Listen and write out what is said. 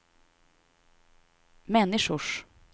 människors